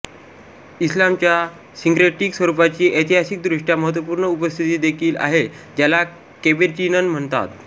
इस्लामच्या syncretic स्वरूपाची ऐतिहासिकदृष्ट्या महत्त्वपूर्ण उपस्थिती देखील आहे ज्याला केबेटिनन म्हणतात